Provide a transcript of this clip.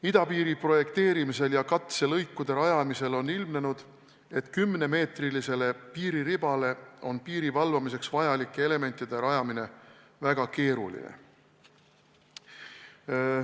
Idapiiri projekteerimisel ja katselõikude rajamisel on ilmnenud, et kümnemeetrisele piiriribale on piiri valvamiseks vajalike elementide rajamine väga keeruline.